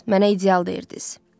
Mənə ideal deyirdiz.